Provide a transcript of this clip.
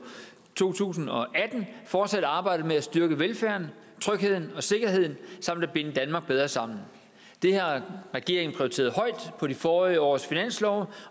to tusind og atten fortsat arbejde med at styrke velfærden trygheden og sikkerheden samt at binde danmark bedre sammen det har regeringen prioriteret højt på de forrige års finanslove